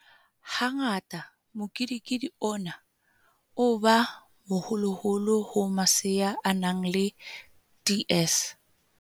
Ha ngata mokedikedi ona o ba moholoholo ho masea a nang le DS.